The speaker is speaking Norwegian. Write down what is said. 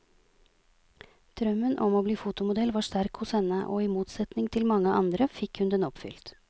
Drømmen om å bli fotomodell var sterk hos henne, og i motsetning til mange andre fikk hun den oppfylt.